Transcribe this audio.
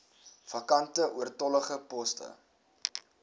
vakante oortollige poste